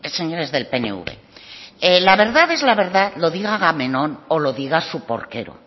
señores del pnv la verdad es la verdad lo diga agamenón o lo diga su porquero